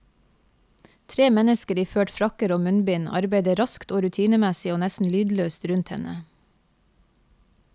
Tre mennesker iført frakker og munnbind arbeider raskt og rutinemessig og nesten lydløst rundt henne.